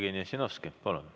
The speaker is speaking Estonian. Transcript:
Jevgeni Ossinovski, palun!